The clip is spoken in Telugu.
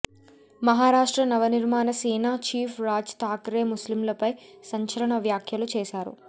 మహారాష్ట్ర నవనిర్మాణ సేన చీఫ్ రాజ్ థాకరే ముస్లింలపై సంచలన వ్యాఖ్యలు చేశారు